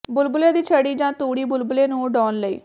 ਬੁਲਬੁਲੇ ਦੀ ਛੜੀ ਜਾਂ ਤੂੜੀ ਬੁਲਬੁਲੇ ਨੂੰ ਉਡਾਉਣ ਲਈ